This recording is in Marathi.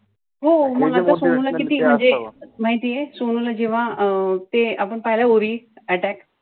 हो मग आता सोनूला किती म्हणजे माहितीये सोनूला जेव्हा अं ते आपण पहिला URI attack